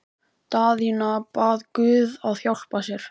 Daðína bað guð að hjálpa sér.